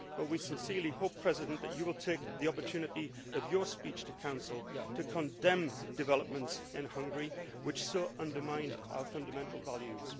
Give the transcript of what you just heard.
But we sincerely hope, President Barroso, that you will take the opportunity in your speech to the Council to condemn the developments in Hungary, which so undermine our fundamental values.